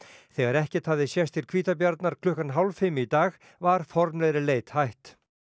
þegar ekkert hafði sést til hvítabjarnar klukkan hálf fimm í dag var formlegri leit hætt